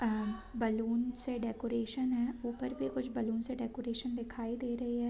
अ balloon से decoration है ऊपर भी कुछ बैलून से डेकोरेशन दिखाई दे रही है।